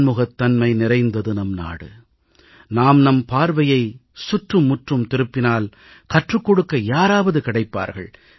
பன்முகத்தன்மை நிறைந்தது நம் நாடு நாம் நம் பார்வையை சுற்றும்முற்றும் திருப்பினால் கற்றுக் கொடுக்க யாராவது கிடைப்பார்கள்